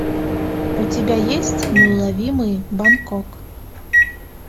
у тебя есть неуловимые бангкок